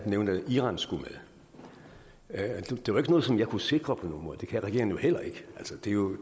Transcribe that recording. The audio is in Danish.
nævnte at iran skulle med det var ikke noget som jeg kunne sikre på nogen måde det kan regeringen heller ikke